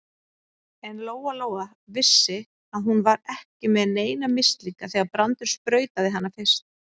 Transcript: En Lóa-Lóa vissi að hún var ekki með neina mislinga þegar Brandur sprautaði hana fyrst.